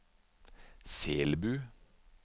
Selbu